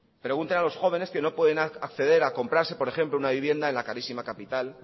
pregunten a los jóvenes que no pueden acceder a comprarse por ejemplo una vivienda en la carísima capital